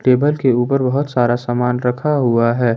Table के ऊपर बहुत सारा सामान रखा हुआ है।